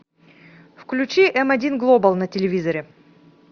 включи эм один глобал на телевизоре